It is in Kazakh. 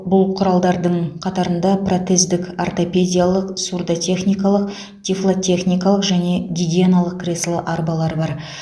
бұл құралдардың қатарында протездік ортопедиялық сурдотехникалық тифлотехникалық және гигиеналық кресло арбалар бар